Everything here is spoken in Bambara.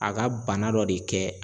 A ka bana dɔ de kɛ.